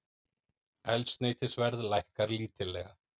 Eldsneytisverð lækkar lítillega